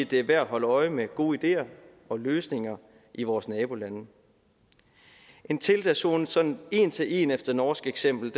det er værd at holde øje med gode ideer og løsninger i vores nabolande en tiltagszone sådan en til en efter norsk eksempel